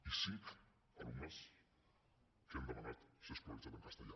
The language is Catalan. i cinc alumnes que han demanat ser escolaritzats en castellà